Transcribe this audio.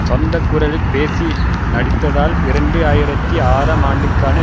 சொந்த குரலில் பேசி நடித்ததால் இரண்டு ஆயிரத்தி ஆறாம் ஆண்டுக்கான